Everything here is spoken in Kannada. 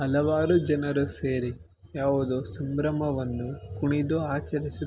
ಹಲವಾರು ಜನರು ಸೇರಿ ಯಾವುದೋ ಸಂಭ್ರಮವನ್ನು ಕುಣಿದು ಆಚರಿಸು--